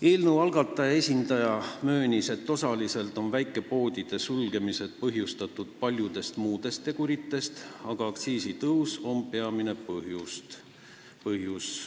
Eelnõu algataja esindaja möönis, et osaliselt on väikepoodide sulgemine põhjustatud paljudest muudestki teguritest, aga aktsiisitõus on peamine põhjus.